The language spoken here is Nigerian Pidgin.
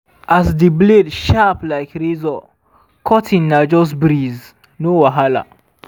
as di blade sharp like razor cutting na just breeze—no wahala.